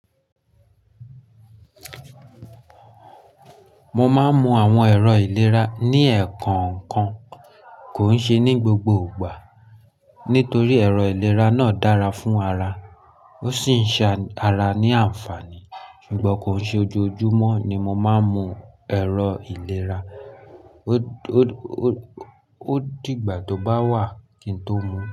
Mo máa ń mu àwọn ẹ̀rọ ìlera ní ẹ̀ẹ̀kan kan, kò ń ṣe ní gbogbo ìgbà. Nítorí ẹ̀rọ ìlera náà dára fún ara, ó sì ń ṣe ara ní àǹfààní. Ṣùgbọ́n kò ń ṣe ojoojúmọ́ ni mo máa ń mu ẹ̀rọ ìlera. Ó di ìgbà tó bá wà kí n tó mu.